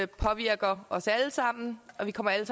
påvirker os alle sammen og vi kommer alle